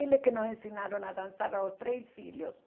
Eles que nos ensinaram a dançar aos três filhos.